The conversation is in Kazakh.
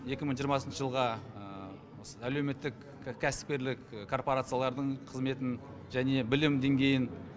екі мың жиырмасыншы жылға осы әлеуметтік кәсіпкерлік корпорациялардың қызметін және білім деңгейін